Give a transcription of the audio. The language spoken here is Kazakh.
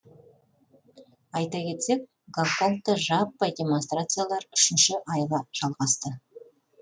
айта кетсек гонконгта жаппай демонстрациялар үшінші айға жалғасты